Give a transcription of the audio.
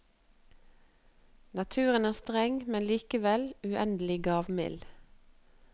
Naturen er streng, men likevel uendelig gavmild.